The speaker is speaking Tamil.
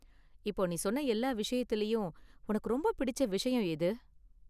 இப்போ நீ சொன்ன எல்லா விஷயத்துலயும் உனக்கு ரொம்ப பிடிச்ச விஷயம் எது?